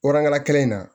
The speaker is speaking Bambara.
kelen in na